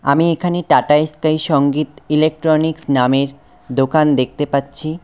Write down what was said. আমি এখানে Tata Sky Sangeet electronics নামের দোকান দেখতে পাচ্ছি।